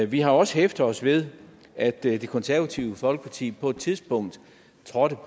vi har også hæftet os ved at det konservative folkeparti på et tidspunkt trådte